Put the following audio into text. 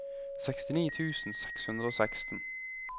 sekstini tusen seks hundre og seksten